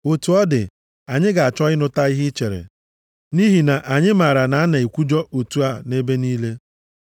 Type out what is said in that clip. Otu ọ dị, anyị ga-achọ ịnụta ihe i chere, nʼihi na anyị maara na a na-ekwujọ otu a nʼebe niile.”